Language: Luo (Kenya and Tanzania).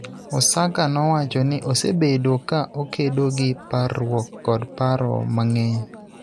Osaka nowacho ni osebedo ka okedo gi parruok kod paro mang�eny,